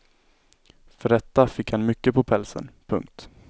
För detta fick han mycket på pälsen. punkt